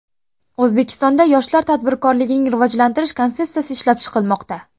O‘zbekistonda yoshlar tadbirkorligini rivojlantirish konsepsiyasi ishlab chiqilmoqda.